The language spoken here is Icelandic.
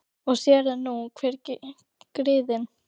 Og sér eru nú hver griðin!